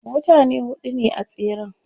mutane huɗu ne a tseren